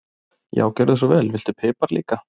Já, gjörðu svo vel. Viltu pipar líka?